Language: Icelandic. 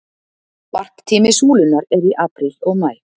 Varptími súlunnar er í apríl og maí.